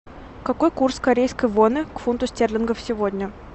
какой курс корейской воны к фунту стерлингов сегодня